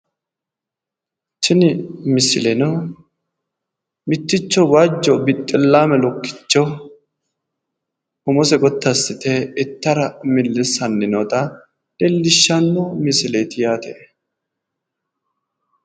Tini misileno mitticho waajo bixxillaame lukkicho umose gotti assite ittara millissanni noota leelishshanno misileeti yaate